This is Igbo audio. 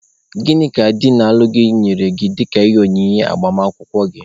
Gịnị ka di na-alụ gị nyere gị dịka ihe onyinye agbamakwụkwọ gị?